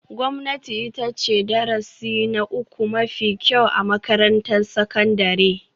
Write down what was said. Gwamnati ita ce darasi na uku mafi kyau a makarantar sakandare